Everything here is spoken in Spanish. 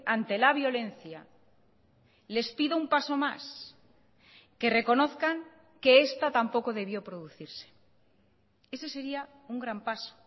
ante la violencia les pido un paso más que reconozcan que esta tampoco debió producirse ese sería un gran paso